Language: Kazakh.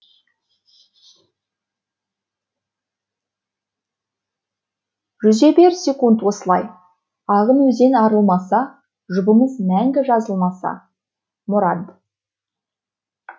жүзе бер секунд осылай ағын өзен арылмаса жұбымыз мәңгі жазылмаса мұрат